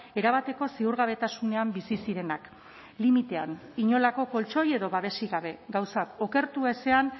erabateko ziurgabetasunean bizi zirenak limitean inolako koltxoi edo babesik gabe gauzak okertu ezean